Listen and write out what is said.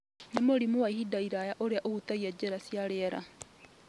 nĩ mũrimũ wa ihinda iraya ũrĩa ũhutagia njĩra cia rĩera.